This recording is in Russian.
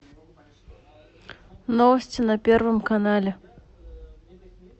новости на первом канале